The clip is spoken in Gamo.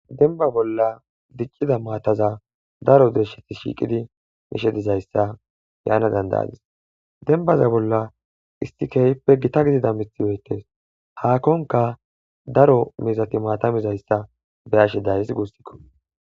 Denba bolla diccida maataza daro deresheti shiiqidi mishe dizayssa yaana dandayadis dembaza bolla istikeeyppe gita gidida mithi yoytes haakonka daro mizati maatamizayssa beyashe dayis guustikko